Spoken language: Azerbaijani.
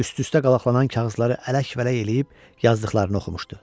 Üst-üstə qalaqlanan kağızları ələk-vələk eləyib, yazdıqlarını oxumuşdu.